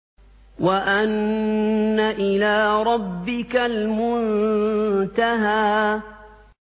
وَأَنَّ إِلَىٰ رَبِّكَ الْمُنتَهَىٰ